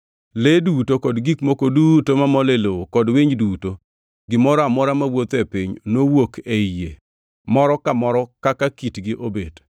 Le duto kod gik moko duto mamol e lowo kod winy duto; gimoro amora mawuotho e piny, nowuok ei yie moro ka moro kaka kitgi obet.